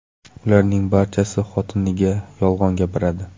Ularning barchasi xotiniga yolg‘on gapiradi.